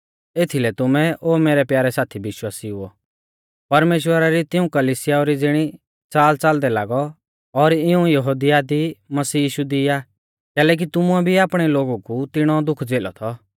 एथीलै तुमै ओ मैरै प्यारै साथी विश्वासिउओ परमेश्‍वरा री तिऊं कलिसियाऊ री ज़िणी च़ालच़ालदै लागौ और इऊं यहुदिया दी मसीह यीशु दी आ कैलैकि तुमुऐ भी आपणै लोगु कु तिणौ दुख झ़ेलौ थौ